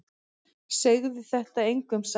Segðu þetta engum sagði hann.